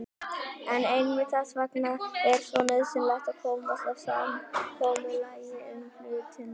En einmitt þess vegna er svo nauðsynlegt að komast að samkomulagi um hlutina.